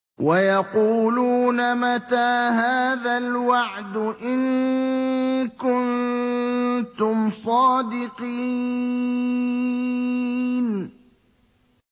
وَيَقُولُونَ مَتَىٰ هَٰذَا الْوَعْدُ إِن كُنتُمْ صَادِقِينَ